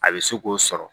A bɛ se k'o sɔrɔ